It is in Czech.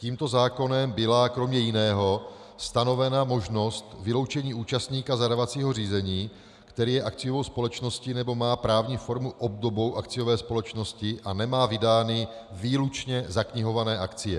Tímto zákonem byla kromě jiného stanovena možnost vyloučení účastníka zadávacího řízení, který je akciovou společností nebo má právní formu obdobnou akciové společnosti a nemá vydány výlučně zaknihované akcie.